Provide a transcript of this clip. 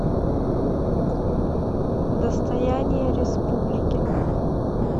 достояние республики